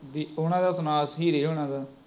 B ਉਹਨਾਂ ਦਾ ਸੁਣਾ ਹੀਰੇ ਹੋਣਾ ਦਾ